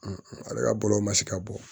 ale ka bɔlɔlɔw ma se ka bɔ